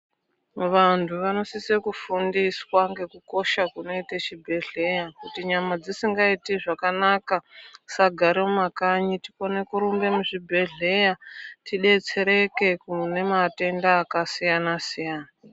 Vantu vanosise kufundiswa ngekukosha kunoite chibhedhleya kuti nyama dzisingaiti zvakanaka tisagare mumakanyi tikone kurumbe muzvibhedhleya tidetsereke kune matenda akasiyana siyana.